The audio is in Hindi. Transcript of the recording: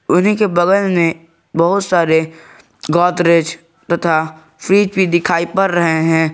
उन्हीं के बगल में बहुत सारे गोदरेज तथा फ्रिज भी दिखाई पड़ रहे हैं।